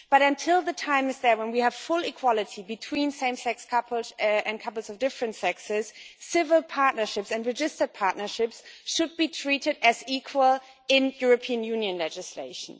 But until the time comes when we have full equality between same sex couples and couples of different sexes, civil partnerships and registered partnerships should be treated as equal in European Union legislation.